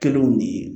Kɛliw de ye